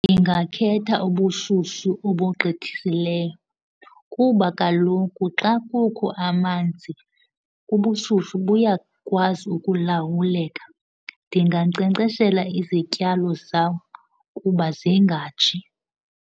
Ndingakhetha ubushushu obugqithisileyo kuba kaloku xa kukho amanzi, ubushushu buyakwazi ukulawuleka. Ndingankcenkceshela izityalo zam kuba zingatshi.